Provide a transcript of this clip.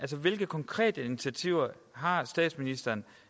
hvilke konkrete initiativer har statsministeren